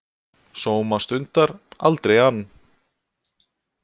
Sóma stundar, aldrei ann